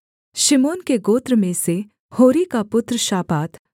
शिमोन के गोत्र में से होरी का पुत्र शापात